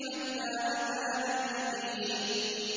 حَتَّىٰ أَتَانَا الْيَقِينُ